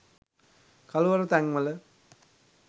කළුවර තැන් වල